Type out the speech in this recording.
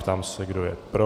Ptám se, kdo je pro.